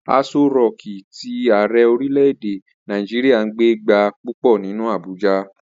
Aso rọọ̀kí tí Ààrẹ orílè-èdè Nàìjíríà ń gbé gba púpọ̀ nínú Abuja.